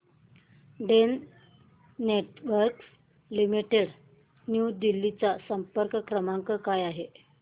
Den Networks limited New Delhi चा संपर्क क्रमांक काय आहे